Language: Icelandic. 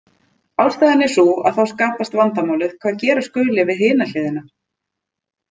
Ástæðan er sú að þá skapast vandamálið hvað gera skuli við hina hliðina.